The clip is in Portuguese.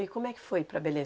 E como é que foi ir para Belém?